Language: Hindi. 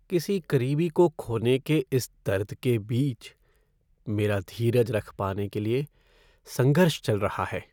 किसी करीबी को खोने के इस दर्द के बीच, मेरा धीरज रख पाने के लिए संघर्ष चल रहा है।